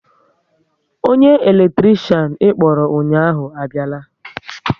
Onye eletrikshan ịkpọrọ ụnyaahụ abiala